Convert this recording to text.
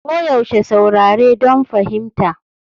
Koyaushe saurare don fahimta.